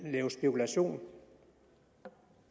lave spekulation